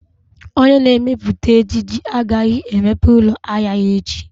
Onye na-emepụta ejiji agaghị emepe ụlọ ahịa ya echi